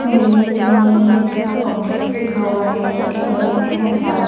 building सी बनी हुई है दीपक कंपलेक्स लिखा हुआ है उसके बगल में एस_आर --